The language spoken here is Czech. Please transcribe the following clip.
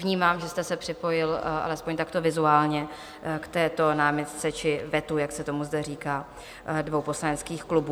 Vnímám, že jste se připojil alespoň takto vizuálně k této námitce či vetu, jak se tomu zde říká, dvou poslaneckých klubů.